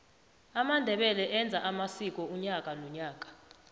amandebele enza amsiko unyaka nonyaka